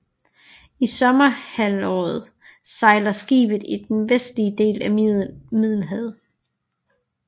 I sommerhalvåret sejler skibet i den vestlige del af Middelhavet